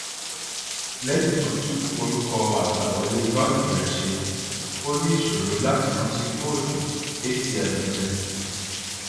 lẹyìn tó tún orúkọ àgbàwọlé banki rẹ ṣe ó ní ìṣòro láti rántí kóòdù atm rẹ